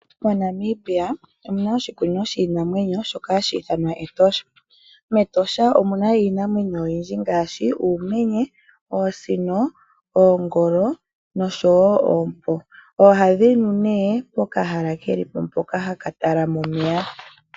MoNamibia omuna oshikunino shiinamwenyo shoka hashi ithanwa Etosha National park. MEtosha omuna iinamwenyo oyindji ngaashi uumenye , oosino, oongolo noshowoo oompo. Ohadhi nu pokahala keli po kokuninwa omeya.